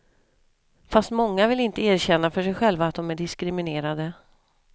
Fast många vill inte erkänna för sig själva att de är diskriminerade.